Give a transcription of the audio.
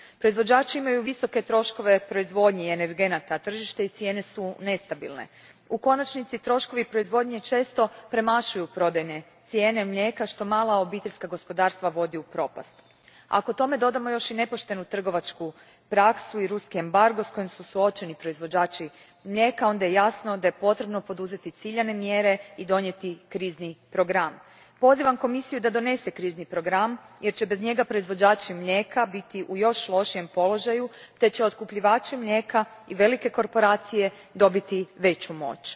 Proizvođači imaju visoke troškove proizvodnje energenata tržišta i cijene su nestabilne. U konačnici troškovi proizvodnje često premašuju prodajne cijene mlijeka što mala obiteljska gospodarstva vodi u propast. Ako tome dodamo još i nepoštenu trgovačku praksu i ruski embargo s kojim su suočeni proizvođači mlijeka onda je jasno da je potrebno poduzeti ciljane mjere i donijeti krizni program. Pozivam Komisiju da donese krizni program jer će bez njega proizvođači mlijeka biti u još lošijem položaju te će otkupljivači mlijeka i velike korporacije dobiti veću moć.